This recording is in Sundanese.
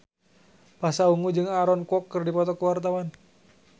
Pasha Ungu jeung Aaron Kwok keur dipoto ku wartawan